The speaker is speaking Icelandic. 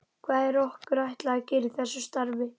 Hvað er okkur ætlað að gera í þessu starfi?